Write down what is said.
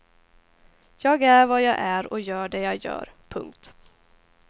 Jag är vad jag är och gör det jag gör. punkt